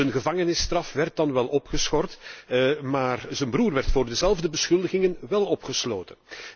Zijn gevangenisstraf werd dan wel opgeschort, maar zijn broer werd onder dezelfde beschuldigingen wel opgesloten.